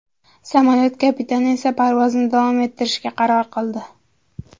Samolyot kapitani esa parvozni davom ettirishga qaror qildi.